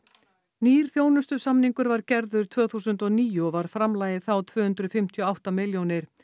nýr þjónustusamningur var gerður tvö þúsund og níu og var framlagið þá tvö hundruð fimmtíu og átta milljónir